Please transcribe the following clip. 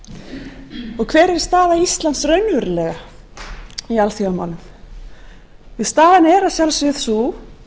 er uppi hver er staða íslands raunverulega í alþjóðamálum staðan er að sjálfsögðu sú